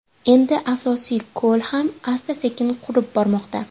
Endi asosiy ko‘l ham asta-sekin qurib bormoqda.